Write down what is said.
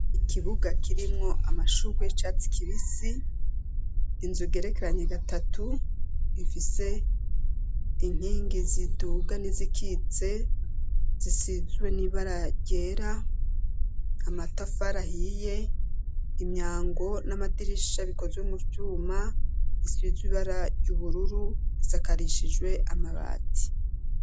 ikibuga kirimwo amashugwe y'icatsi kibisi inzu igerekeranye gatatu ifise inkingi ziduga n'izikitse zisizwe n'ibara ryera amatafari ahiye imyango n'amadirisha bikozwe mu vyuma isizibara ry'ubururu isakarishijwe amabati